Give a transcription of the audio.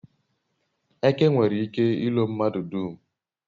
eke nwere ike ilo mmadu dum